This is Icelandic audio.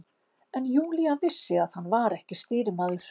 En Júlía vissi að hann var ekki stýrimaður.